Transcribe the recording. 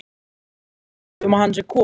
Hér er frétt um að hann sé kominn.